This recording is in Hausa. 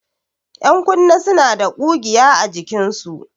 Ƴankunne suna da ƙugiya a jikinsu.